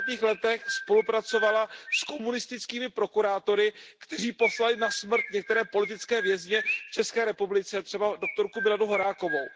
70. letech spolupracovala s komunistickými prokurátory, kteří poslali na smrt některé politické vězně v České republice, třeba doktorku Miladu Horákovou.